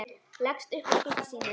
Leggst upp að skugga sínum.